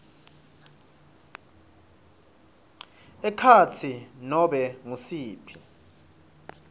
ekhatsi nobe ngusiphi